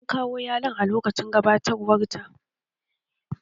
An kawo yalon a lokacin gabatarwar ta